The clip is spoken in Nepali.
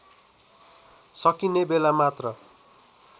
सकिने बेला मात्र